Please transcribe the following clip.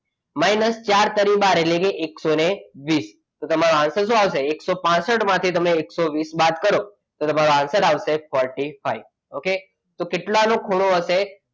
minus ચાર તારી બાર એટલે કે એકસો વીસ તો તમારો answer શું આવશે એકસો પાંસઠ માંથી તમે એકસો વીસ બાદ કરો તો તમારો answer આવશે forty five okay તો કેટલાનો ખૂણો હશે?